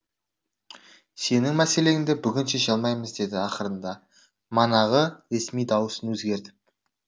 сенің мәселеңді бүгін шеше алмаймыз деді ақырында манағы ресми даусын өзгертіп